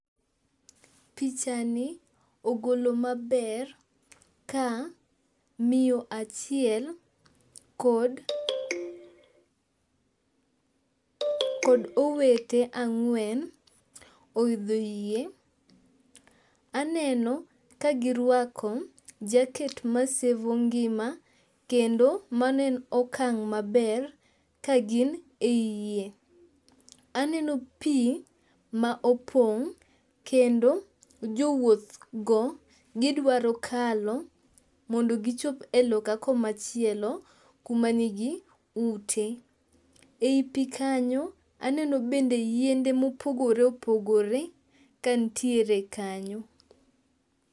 Pichani ogolo maber ka miyo achiel kod owete ang'wen ohidho yie. Aneno ka girwako jacket masevo ngima kendo mano en okang' maber kagin e yie. Aneno pi ma opong' kendo jo wuoth go gidwaro kalo mondo gichop e loka komachielo kuma nigi ute. E yi pi kanyo aneno bende yiedhe mopogore opogore ka nitiere kanyo.